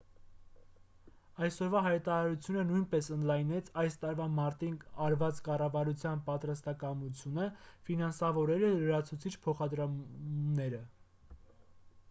այսօրվա հայտարարությունը նույնպես ընդլայնեց այս տարվա մարտին արված կառավարության պատրաստակամությունը ֆինանսավորելու լրացուցիչ փոխադրումներ